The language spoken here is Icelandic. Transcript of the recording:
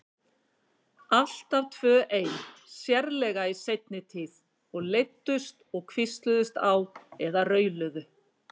Alltaf tvö ein, sérlega í seinni tíð, og leiddust og hvísluðust á eða rauluðu.